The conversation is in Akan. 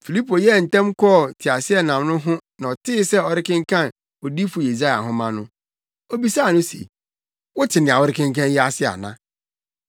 Filipo yɛɛ ntɛm kɔɔ teaseɛnam no ho na ɔtee sɛ ɔrekenkan Odiyifo Yesaia nhoma no, obisaa se, “Wote nea worekenkan yi ase ana?”